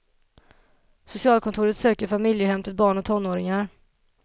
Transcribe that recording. Socialkontoret söker familjehem till barn och tonåringar.